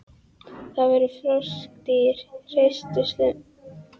Það voru froskdýr, hreistursalamöndrur, sem urðu síðan ríkjandi á kolatímabilinu.